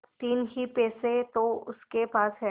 तीन ही पैसे तो उसके पास हैं